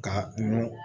Ka kunun